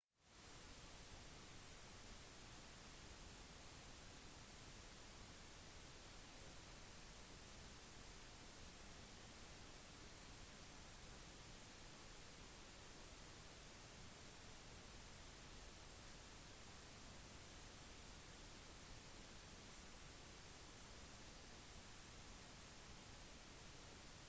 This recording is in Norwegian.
kommissæren setter kausjon dersom innvilget og formaliserer anklagene fra anmeldelsen av offiseren som foretok pågripelsen etterpå blir anklagene lagt inn i statens datasystem der saken blir overvåket